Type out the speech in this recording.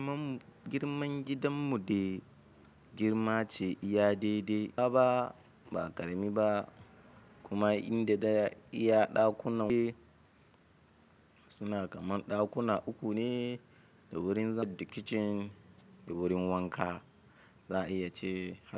Girman gidan mu dai girma ce iya daidai, baba ba ƙarami ba kuma inda ɗaya iya ɗakunan uku suna kaman ɗakuna uku ne da wurin zaɓ da kicin da wurin wanka za a iya ce.